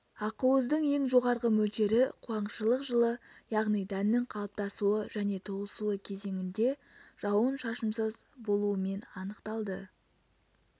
ақуыздың ең жоғарғы мөлшері қуаңшылық жылы яғни дәннің қалыптасуы және толысуы кезеңінде жауын-шашынсыз болуымен анықталды